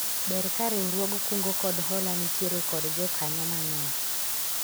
Ber ka riwruog kungo kod hola nitiere kod jokanyo mang'eny